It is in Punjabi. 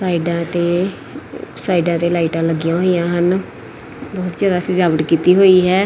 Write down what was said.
ਸਾਈਡਾਂ ਤੇ ਸਾਈਡਾਂ ਤੇ ਲਾਈਟਾਂ ਲੱਗੀਆਂ ਹੋਈਆਂ ਹਨ ਬਹੁਤ ਜਿਆਦਾ ਸਜਾਵਟ ਕੀਤੀ ਹੋਈ ਹੈ।